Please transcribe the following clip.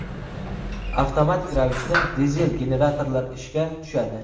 avtomatik ravishda dizel generatorlar ishga tushadi.